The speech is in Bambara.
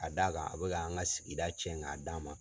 Ka d'a kan a bɛka an ka sigida cɛn k'a d'a ma.